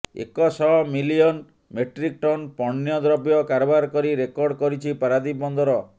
ଏକ ଶହ million metric tonne ପଣ୍ୟଦ୍ରବ୍ୟ କାରବାର କରି ରେକର୍ଡ କରିଛି ପାରାଦୀପ ବନ୍ଦର